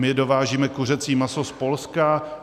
My dovážíme kuřecí maso z Polska.